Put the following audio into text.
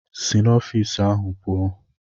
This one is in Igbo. Si n'ọfịs ahụ pụọ!